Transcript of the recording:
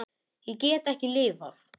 Ég get ekki lifað.